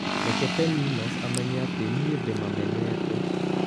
Reke Pepinos amenye atĩ nĩ ndĩmamenete